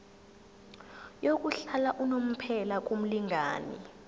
yokuhlala unomphela kumlingani